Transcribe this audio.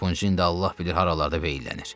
Harpunçu indi də Allah bilir haralarda veyllənir.